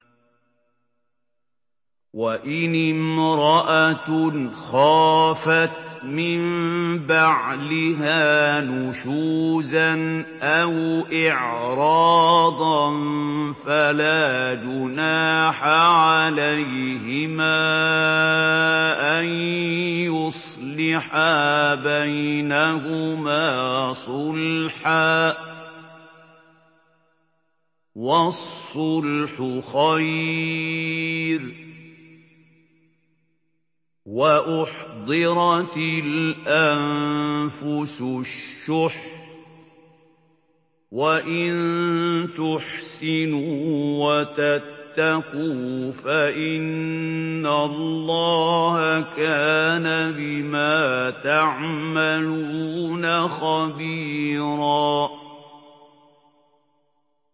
وَإِنِ امْرَأَةٌ خَافَتْ مِن بَعْلِهَا نُشُوزًا أَوْ إِعْرَاضًا فَلَا جُنَاحَ عَلَيْهِمَا أَن يُصْلِحَا بَيْنَهُمَا صُلْحًا ۚ وَالصُّلْحُ خَيْرٌ ۗ وَأُحْضِرَتِ الْأَنفُسُ الشُّحَّ ۚ وَإِن تُحْسِنُوا وَتَتَّقُوا فَإِنَّ اللَّهَ كَانَ بِمَا تَعْمَلُونَ خَبِيرًا